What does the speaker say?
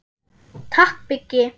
Takk Biggi.